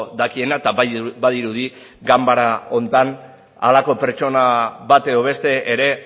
dakiena eta badirudi ganbara honetan halako pertsona bat edo beste ere